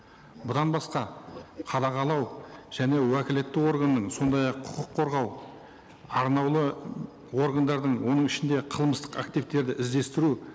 бұдан басқа қадағалау және уәкілетті органның сондай ақ құқық қорғау арнаулы органдардың оның ішінде қылмыстық активтерді іздестіру